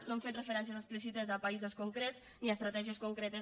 no hem fet referències explícites a paï sos concrets ni a estratègies concretes